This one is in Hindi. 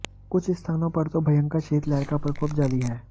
कुछ स्थानों पर तो भयंकर शीतलहर का प्रकोप जारी है